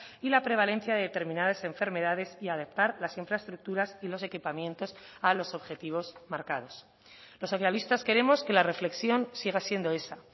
y la prevalencia de determinadas enfermedades y adaptar las infraestructuras y los equipamientos a los objetivos marcados los socialistas queremos que la reflexión siga siendo esa